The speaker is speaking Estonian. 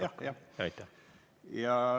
Jah, aitäh!